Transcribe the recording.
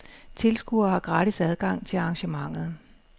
Tilskuere har gratis adgang til arrangementet.